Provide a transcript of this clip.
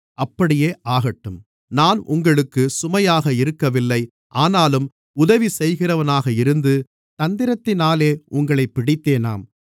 அப்படியே ஆகட்டும் நான் உங்களுக்குச் சுமையாக இருக்கவில்லை ஆனாலும் உதவி செய்கிறவனாக இருந்து தந்திரத்தினாலே உங்களைப் பிடித்தேனாம்